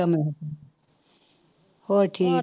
ਮੈਂ ਕਿਹਾ ਹੋਰ ਠੀਕ